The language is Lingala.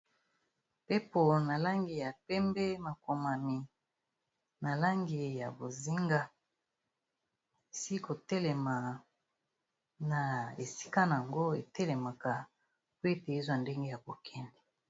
Mpepo na langi ya pembe, makomami na langi ya bozinga. Esili ko telema na esika nango etelemaka, po ete ezwa ndenge ya ko kende.